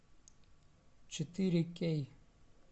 четыре кей